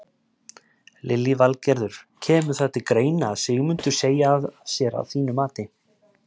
Lillý Valgerður: Kemur það til greina að Sigmundur segi af sér að þínu mati?